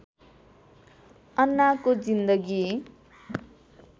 अन्नाको जिन्दगी